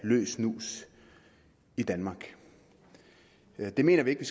løs snus i danmark det mener vi ikke